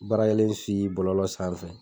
Baarakɛlen bɔlɔlɔ sanfɛ.